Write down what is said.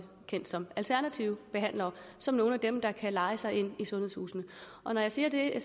kendt som alternative behandlere som nogle af dem der kan leje sig ind i sundhedshusene når jeg siger det